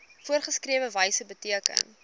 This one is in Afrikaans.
voorgeskrewe wyse beteken